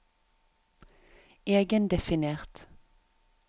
egendefinert